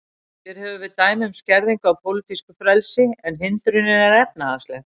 Hér höfum við dæmi um skerðingu á pólitísku frelsi, en hindrunin er efnahagsleg.